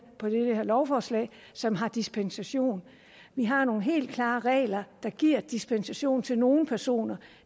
lovforslag som har dispensation vi har nogle helt klare regler der giver dispensation til nogle personer